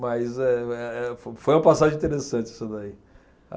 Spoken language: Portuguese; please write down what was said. Mas eh, eh, eh, foi uma passagem interessante essa daí.